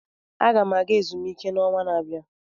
Aga m aga ezumike n'ọnwa na-abịa.